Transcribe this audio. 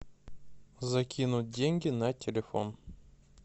закинуть деньги на телефон